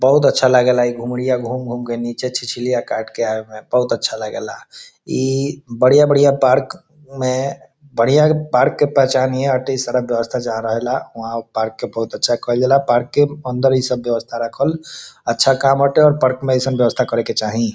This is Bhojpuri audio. बहुत अच्छा लागेला ई घुमरिया घूम-घूम के नीचे छिछिलिया काट के आवे मे बहुत अच्छा लागेला ई बढ़िया-बढ़िया पार्क में बढ़िया पार्क के पहचान ईये हाटे सारा व्यवस्था जा रहे ऊहा पार्क के बहुत अच्छा कईल जाला पार्क के अंदर ई सब व्यवस्था रखल अच्छा काम बाटे पार्क मे ई सब व्यवस्था करे के चाही।